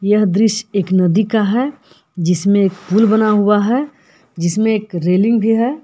यह दृश्य एक नदी का है जिसमें एक पुल बना हुआ है जिसमें एक रेलिंग भी है।